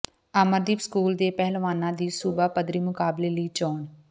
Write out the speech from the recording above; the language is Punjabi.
ਅਮਰਦੀਪ ਸਕੂਲ ਦੇ ਪਹਿਲਵਾਨਾਂ ਦੀ ਸੂਬਾ ਪੱਧਰੀ ਮੁਕਾਬਲੇ ਲਈ ਚੋਣ